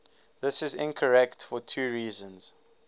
this is incorrect for two reasons